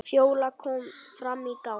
Fjóla kom fram í gang.